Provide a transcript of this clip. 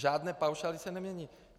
Žádné paušály se nemění.